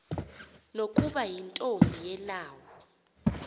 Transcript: nokuba yintombi yelawu